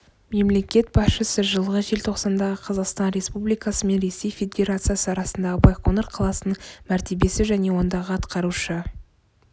мемлекет басшысы жылғы желтоқсандағы қазақстан республикасы мен ресей федерациясы арасындағы байқоңыр қаласының мәртебесі және ондағы атқарушы